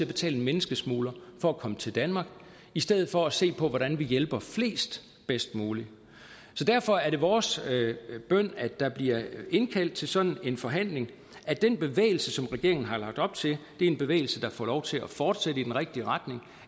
betale en menneskesmugler for at komme til danmark i stedet for at se på hvordan vi hjælper flest bedst muligt derfor er det vores bøn at der bliver indkaldt til sådan en forhandling og at den bevægelse som regeringen har lagt op til er en bevægelse der får lov til at fortsætte i den rigtige retning